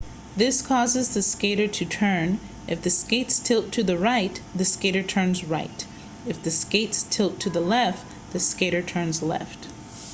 this causes the skater to turn if the skates tilt to the right the skater turns right if the skates tilt to the left the skater turns left